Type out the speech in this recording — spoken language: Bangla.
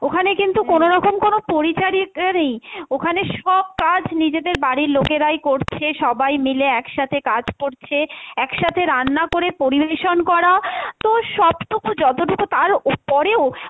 ওখানে কিন্তু কোনোরকম কোনো পরিচারিকা নেই, ওখানে সব কাজ নিজেদের বাড়ির লোকেরাই করছে, সবাই মিলে এক সাথে কাজ করছে, এক সাথে রান্না করে পরিবেশন করা তো সবটুকু যতটুকু পারো ওর পরেও,